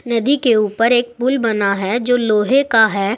नदी के ऊपर एक पुल बना है जो लोहे का है।